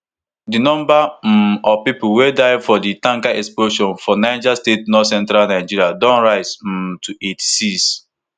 di number um of pipo wey die for di tanker explosion for niger state northcentral nigeria don rise um to eighty-six